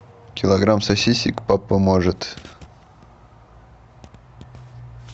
килограмм сосисок папа может